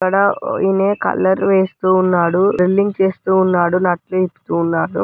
ఇక్కడ ఈయన కలర్ వేస్తూ ఉన్నాడు. డ్రిల్లింగ్ చేస్తూ ఉన్నాడు.